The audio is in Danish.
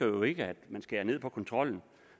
jo ikke at man skærer ned på kontrollen